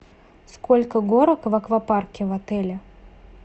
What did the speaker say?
сколько горок в аквапарке в отеле